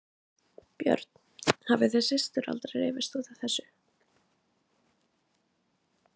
Björn: Hafið þið systur aldrei rifist út af þessu?